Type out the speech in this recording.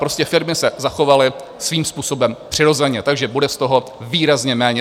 Prostě firmy se zachovaly svým způsobem přirozeně, takže bude z toho výrazně méně.